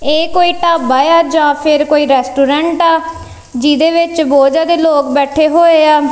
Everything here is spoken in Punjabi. ਇਹ ਕੋਈ ਢਾਬਾ ਆ ਜਾਂ ਫਿਰ ਕੋਈ ਰੈਸਟੋਰੈਂਟ ਆ ਜਿਹਦੇ ਵਿੱਚ ਬਹੁਤ ਜਿਆਦਾ ਲੋਕ ਬੈਠੇ ਹੋਏ ਆ।